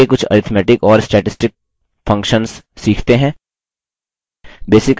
आगे कुछ arithmetic और statistic functions सीखते हैं